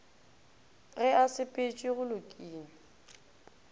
ge a sepetše go lokile